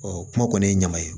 kuma kɔni ye ɲama ye